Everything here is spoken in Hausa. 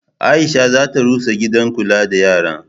Aisha za ta rusa gidan kula da yara.